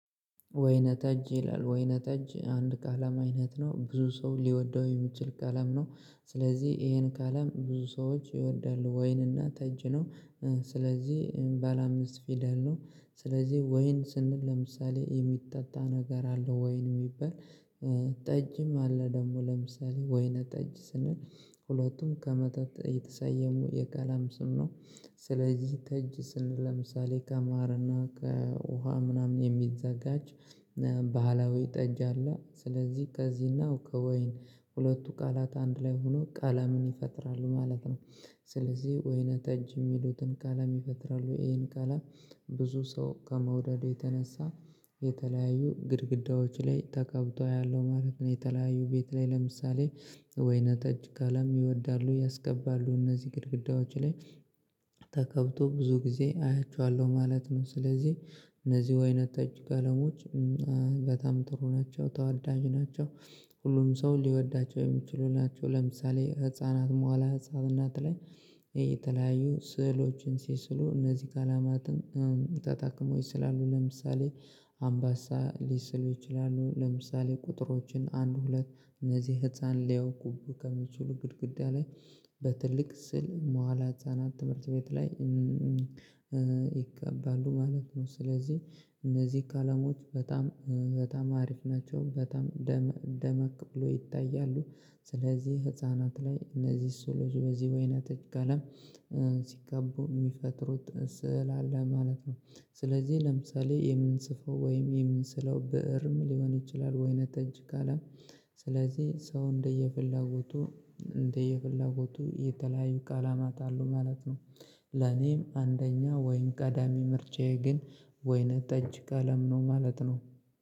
ወይነ ጠጅ ይላል ወይነ ጠጅ አንድ ቀለም አይነት ነው ብዙ ሰው ሊወደው የሚችል ቀለም ነው ስለዚህ ይሄን ቀለም ብዙ ሰዎች ይወዳሉ ወይንና ጠጅ ነው ስለዚህ ባለ አምስት ፊደል ነው ስለዚህ ወይን ስንል ለምሳሌ የሚጠጣ ነገር አለው ወይን የሚባል ጠጅም አለ ደግሞ ለምሳሌ ወይነ ጠጅ ስንል ሁለቱም ከመጠጥ የተሰየሙ የቃለም ስም ነው ስለዚህ ጠጅ ስንል ለምሳሌ ከማርና ከውሃ ምናምን የሚዘጋጅ ባህላዊ ጠጅ አለ ስለዚህ ከዚህና ከወይን ሁለቱ ቃላት አንድ ላይ ሆኖ ቀለምን ይፈጥራሉ ማለት ነው ስለዚህ ወይነ ጠጅ የሚሉትን ቃለም ይፈጥራሉ ይሄን ቃለም ብዙ ሰው ከመውደድ የተነሳ የተለያዩ ግድግዳዎች ላይ ተቀብቶ አያለው ማለት ነው የተለያዩ ቤት ላይ ለምሳሌ ወይነ ጠጅ ቀለም ይወዳሉ ያስቀባሉ እነዚህ ግድግዳዎች ላይ ተቀብቶ ብዙ ጊዜ አያችኋለሁ ማለት ነው ስለዚህ እነዚህ ወይነ ጠጅ ቀለሞች በጣም ጥሩ ናቸው ተዋዳጅ ናቸው ሁሉም ሰው ሊወዳቸው የሚችሉ ናቸው ለምሳሌ ህፃናት መዋለ ህፃናት ላይ የተለያዩ ስዕሎችን ሲስሉ እነዚህ ቀለማትን ተጠቅሞ ይሰላሉ ለምሳሌ አምባሳ ሊስሉ ይችላሉ ለምሳሌ ቁጥሮችን አንድ ሁለት እነዚህ ህፃን ሊያውቁብህ ከሚችሉ ግድግዳ ላይ በትልቅ ስዕል መዋዕለ ህፃናት ትምህርት ቤት ላይ ይቀባሉ ማለት ነው ስለዚህ እነዚህ ቀለሞች በጣም አሪፍ ናቸው በጣም ደመቅ ብሎ ይታያሉ ስለዚህ ህፃናት ላይ እነዚህ ሰዕሎች በዚህ ወይነ ጠጅ ቀለም ሲጋቡ የሚፈጥሩት ስዕል አለ ማለት ነው ስለዚህ ለምሳሌ የምንጽፈው ወይም የምንስለው ብእርም ሊሆን ይችላል ወይነ ጠጅ ቀለም ስለዚህ ሰው እንደየፍላጎቱ እንደየፍላጎቱ የተለያዩ ቀለማት አሉ ማለት ነው። ለኔም አንደኛ ወይም ቀዳሚ ምርጫዬ ግን ወይነ ጠጅ ቀለም ነው ማለት ነው።